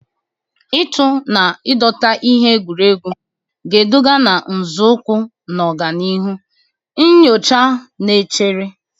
Ịtụ na dọta ihe egwuregwu ga-eduga na nzọụkwụ na-aga n'ihu nyocha na-echere.